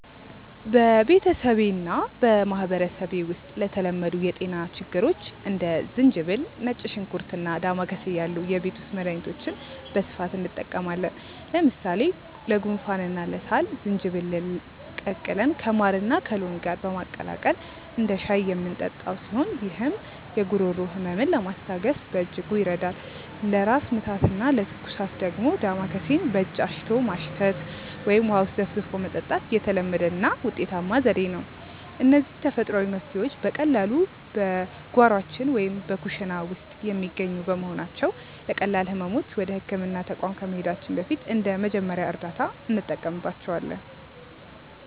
በቤተሰቤና በማኅበረሰቤ ውስጥ ለተለመዱ የጤና ችግሮች እንደ ዝንጅብል፣ ነጭ ሽንኩርትና ዳማከሴ ያሉ የቤት ውስጥ መድኃኒቶችን በስፋት እንጠቀማለን። ለምሳሌ ለጉንፋንና ለሳል ዝንጅብልን ቀቅለን ከማርና ከሎሚ ጋር በማቀላቀል እንደ ሻይ የምንጠጣው ሲሆን፣ ይህም የጉሮሮ ሕመምን ለማስታገስ በእጅጉ ይረዳል። ለራስ ምታትና ለትኩሳት ደግሞ ዳማከሴን በእጅ አሽቶ ማሽተት ወይም ውሃ ውስጥ ዘፍዝፎ መጠጣት የተለመደና ውጤታማ ዘዴ ነው። እነዚህ ተፈጥሯዊ መፍትሔዎች በቀላሉ በጓሯችን ወይም በኩሽና ውስጥ የሚገኙ በመሆናቸው፣ ለቀላል ሕመሞች ወደ ሕክምና ተቋም ከመሄዳችን በፊት እንደ መጀመሪያ እርዳታ እንጠቀምባቸዋለን።